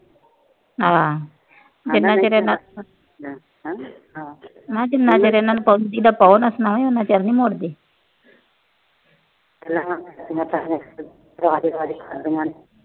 ਹਾਂ, ਤੇ ਨਾਲੇ ਇਹਨਾਂ ਮੈਂ ਕਿਹਾ ਜਿੰਨਾ ਚਿਰ ਇਹਨਾਂ ਨੂੰ ਕੁਛ ਕਹੋ ਨਾ ਫਿਰ ਨੀ ਇਹ ਮੁੜਦੇ।